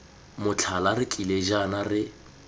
motlhala re tlile jaana re